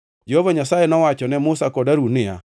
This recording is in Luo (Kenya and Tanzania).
Jehova Nyasaye nowacho ne Musa kod Harun niya,